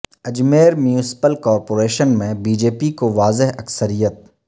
Ajmer municipal corporation میں B J P کو واضح اکثریت